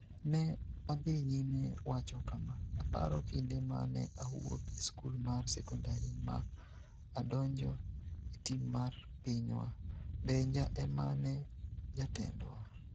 Ne odhi nyime wacho kama: "Aparo kinde ma ne awuok e skul mar sekondari ma adonjo e tim mar pinywa, Benja e ma ne jatendwa.